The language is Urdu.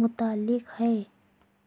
متعلق ہے